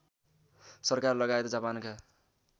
सरकार लगायत जापानका